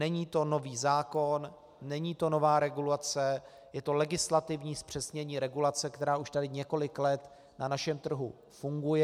Není to nový zákon, není to nová regulace, je to legislativní zpřesnění regulace, která už tady několik let na našem trhu funguje.